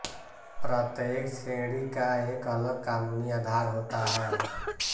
प्रत्येक श्रेणी का एक अलग कानूनी आधार होता है